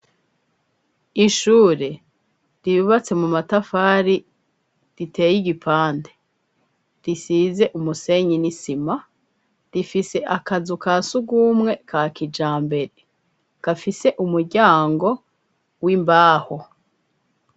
Ishure ribubatse mu matafari riteye igipande risize umusenyi n'isima rifise akazu ka siugumwe ka kija mbere gafise umuryango w'imbaho.